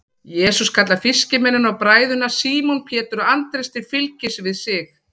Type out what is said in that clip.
jesús kallar fiskimennina og bræðurna símon pétur og andrés til fylgis við sig